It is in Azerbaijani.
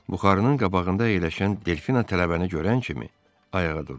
Buxarının qabağında əyləşən Delfina tələbəni görən kimi ayağa durdu.